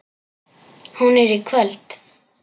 Hún er í kvöld.